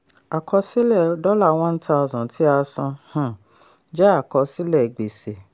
àkọsílẹ̀ dollar one thousand tí a san um jẹ́ àkọsílẹ̀ gbèsè